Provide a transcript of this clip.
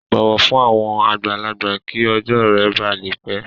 Bọwọ fun awọn agbalagba ki ọjọ rẹ ba le pẹ!